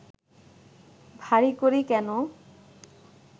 ভারি করি কেন